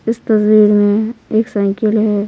इस तस्वीर में एक साइकिल है।